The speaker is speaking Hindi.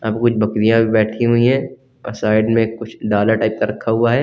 यहां पे कुछ बकरियां बैठी हुई हैं और साइड में कुछ डाला टाइप का रखा हुआ है।